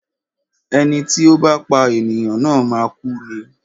Ẹni tí ó bá pá ènìyàn na máa kú ni.